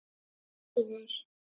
Þú ræður!